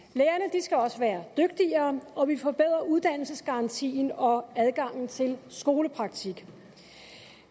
skal også være dygtigere og vi forbedrer uddannelsesgarantien og adgangen til skolepraktik